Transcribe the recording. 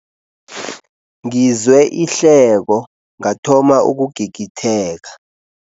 Ngizwe ihleko ngathoma ukugigitheka.